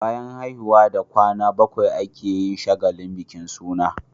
Bayan haihuwa da kwana bakwai ake yin shagalin bikin suna